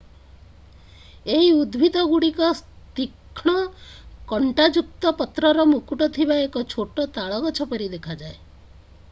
ଏହି ଉଦ୍ଭିଦଗୁଡିକ ତୀକ୍ଷ୍ଣ କଂଟାଯୁକ୍ତ ପତ୍ରର ମୁକୁଟ ଥିବା ଏକ ଛୋଟ ତାଳ ଗଛ ପରି ଦେଖାଯାଏ